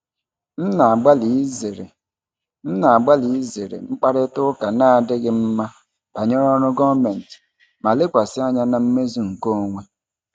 M na-agbalị izere M na-agbalị izere mkparịta ụka na-adịghị mma banyere ọrụ gọọmentị ma lekwasị anya na mmezu nke onwe.